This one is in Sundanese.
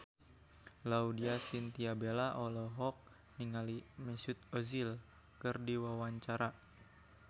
Laudya Chintya Bella olohok ningali Mesut Ozil keur diwawancara